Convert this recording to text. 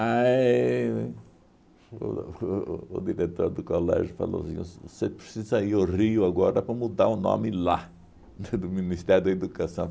Aí, o o o diretor do colégio falou assim, você precisa ir ao Rio agora para mudar o nome lá do Ministério da Educação.